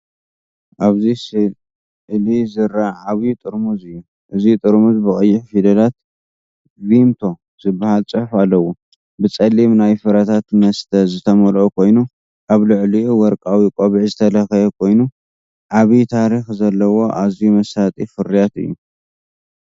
ኣብዚ ስእሊ ዝርአ ዓቢ ጥርሙዝ እዩ። እዚ ጥርሙዝ ብቐይሕ ፊደላት "ቪምቶ" ዝብል ጽሑፍ ኣለዎ። ብጸሊም ናይ ፍረታት መስተ ዝተመልአ ኮይኑ፡ ኣብ ልዕሊኡ ወርቃዊ ቆቢዕ ዝተለኽየ ኮይኑ፡ ዓቢ ታሪኽ ዘለዎ ኣዝዩ መሳጢ ፍርያት እዩ።